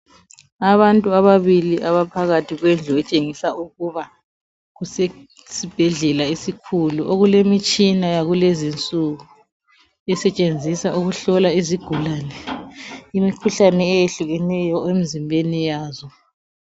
Abantu ababili abaphakathi kwendlu etshengisa ukuba kusesibhedlela esikhulu okulemitshina yakulezinsuku esetshenziswa ukuhlola izigulane imikhuhlane etshiyeneyo emzimbeni wazo.